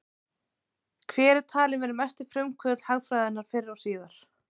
Hver er talinn vera mesti frumkvöðull hagfræðinnar fyrr og síðar?